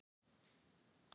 Eru fílar hræddir við mýs?